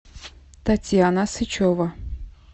татьяна сычева